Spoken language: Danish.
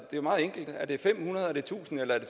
jo meget enkelt er det fem hundrede er det tusind eller er det